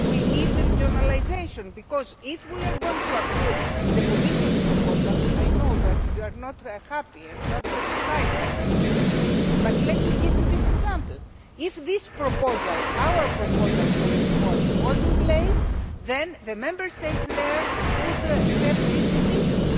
We need regionalisation because, if we are going to approve the Commission's proposal and I know that you are not happy and not satisfied with this proposal, but let me give you this example if this proposal, our proposal, for reform were in place then the Member States concerned could have these decisions